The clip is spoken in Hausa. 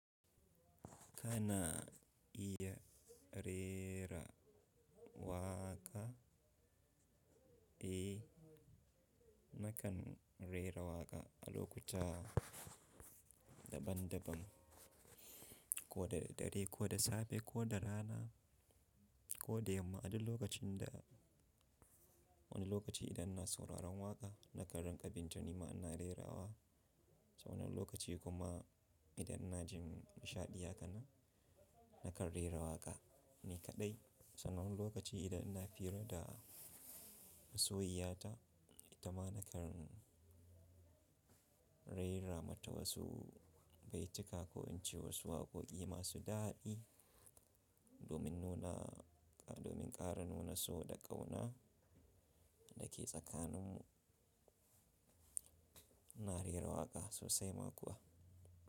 Kana iya rera waƙa? Eh, nakan rera waƙa a lokuta daban-daban, ko da dare, ko da safe, ko da rana, ko da yamma. A duk lokacin da wani lokaci idan na sauraron waƙa, nakan rinƙa bin ta, nima ina rera wa. Wani lokaci kuma idan na ji nishaɗi ha kana, nakan rera waƙa ni kaɗai. Sannan wani lokaci idan ina fira da masoyiya ta, ita ma nakan raira mata wasu baituka ko in ce wasu waƙoƙi masu daɗi domin nuna, domin ƙara nuna so da ƙauna da ke tsakaninmu. Ina rera waƙa sosai ma kuwa.